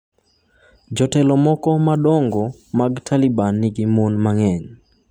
Jotelo moko madongo mag Taliban nigi mon mang’eny.